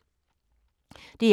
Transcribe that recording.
DR2